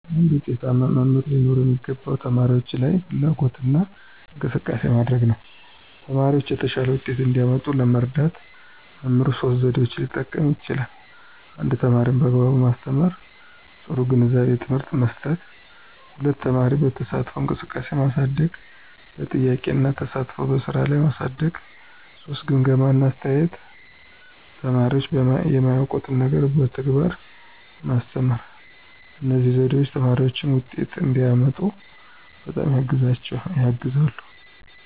አንድ ዉጤታማ መምህር ሊኖረው የሚገባው ተማሪዎች ላይ ፍላጎትና እንቅስቃሴ ማሳደግ ነው። ተማሪዎቻቸው የተሻለ ውጤት እንዲያመጡ ለመርዳት መምህሩ ሶስት ዘዴዎችን ሊጠቀም ይችላል 1) ተማሪን በአግባቡ ማስተማር – ጥሩ ግንዛቤና ትምህርት መስጠት፣ 2) ተማሪን በተሳትፎ እንቅስቃሴ ማሳደግ – በጥያቄዎች እና ተሳትፎ በስራ ላይ ማሳደግ፣ 3) ግምገማ እና አስተያየት – ተማሪዎች የማያውቁትን ነገር በተግባር ማስተማር። እነዚህ ዘዴዎች ተማሪዎች ውጤት እንዲያመጡ በጣም ያግዛሉ።